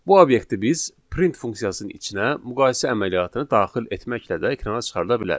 Bu obyekti biz print funksiyasının içinə müqayisə əməliyyatını daxil etməklə də ekrana çıxarda bilərik.